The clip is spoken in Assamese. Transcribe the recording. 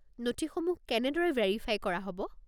নথিসমূহ কেনেদৰে ভেৰিফাই কৰা হ'ব?